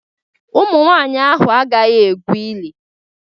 Ụmụnwanyị ahụ agaghị egwu ili.